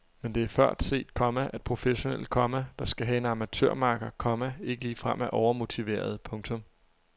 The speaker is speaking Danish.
Men det er før set, komma at professionelle, komma der skal have en amatørmakker, komma ikke ligefrem er overmotiverede. punktum